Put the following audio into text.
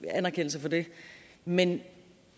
anerkendelse for det men